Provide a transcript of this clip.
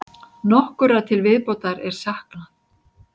Nokkurra til viðbótar er saknað.